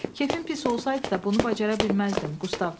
Kefin pis olsaydı da bunu bacarmazdın, Qustav dedi.